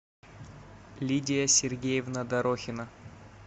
лидия сергеевна дорохина